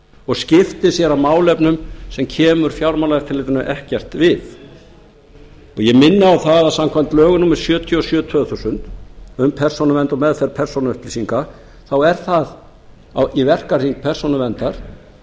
og skipti sér af málefnum sem kemur fjármálaeftirlitinu ekkert við og ég minni á það að samkvæmt lögum númer sjötíu og sjö tvö þúsund um persónuvernd og meðferð persónuupplýsinga þá er það í verkahring persónuverndar